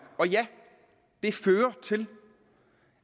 og ja det fører til